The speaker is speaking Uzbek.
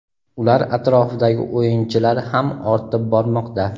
ular atrofidagi "o‘yinchi"lar ham ortib bormoqda.